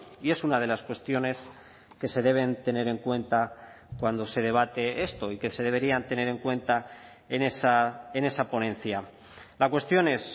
y es una de las cuestiones que se deben tener en cuenta cuando se debate esto y que se deberían tener en cuenta en esa ponencia la cuestión es